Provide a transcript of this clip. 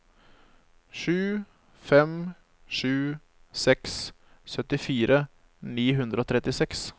sju fem sju seks syttifire ni hundre og trettiseks